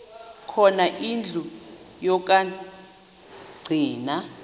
khona indlu yokagcina